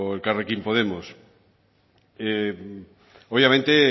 elkarrekin podemos obviamente